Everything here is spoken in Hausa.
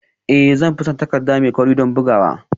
Ee zan fi son takarda mai kauri don bugawa